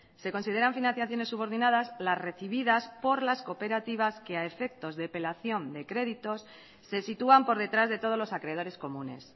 se consideran financiaciones subordinadas las recibidas por las cooperativas que a efectos de apelación de créditos se sitúan por detrás de todos los acreedores comunes